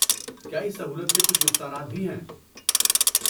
کیا اس سہولت کے کچھ نقصانات بھی ہیں؟